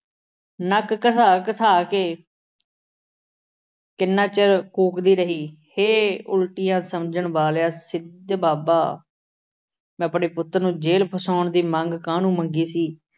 ਨੱਕ ਘਸਾ ਘਸਾ ਕੇ ਕਿੰਨਾ ਚਿਰ ਕੂਕਦੀ ਰਹੀ, ਹੇ ਉਲਟੀਆਂ ਸਮਝਣ ਵਾਲਿਆ, ਸਿੱਧ ਬਾਬਾ ਮੈਂ ਆਪਣੇ ਪੁੱਤ ਨੂੰ ਜੇਲ੍ਹ ਫਸਾਉਣ ਦੀ ਮੰਗ ਕਾਹਨੂੰ ਮੰਗੀ ਸੀ।